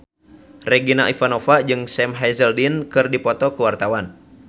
Regina Ivanova jeung Sam Hazeldine keur dipoto ku wartawan